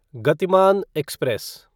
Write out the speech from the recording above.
Gatimaan express